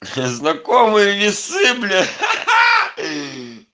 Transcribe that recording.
знакомые весы блять